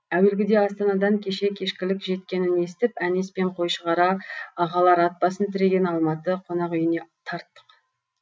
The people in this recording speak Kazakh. әуелгіде астанадан кеше кешкілік жеткенін естіп әнес пен қойшығара ағалар ат басын тіреген алматы қонақүйіне тарттық